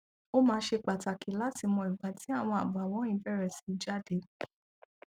ó máa ṣe pàtàkì láti mọ ìgbà tí àwọn àbàwọn yìí bẹrẹ sí jáde